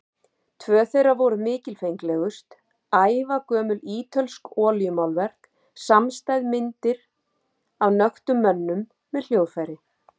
Tvö þeirra voru mikilfenglegust, ævagömul ítölsk olíumálverk samstæð, myndir af nöktum mönnum með hljóðfæri.